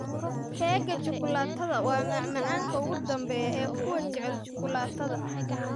Keega shukulaatada waa macmacaanka ugu dambeeya ee kuwa jecel shukulaatada.